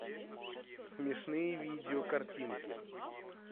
смешные видео картинки